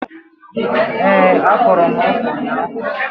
Ee, akọrọ m ọka ụnyaahụ